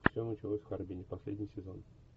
все началось в харбине последний сезон